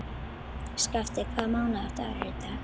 Skafti, hvaða mánaðardagur er í dag?